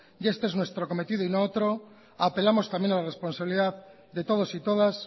y este es nuestro cometido y no otro apelamos también a la responsabilidad de todos y todas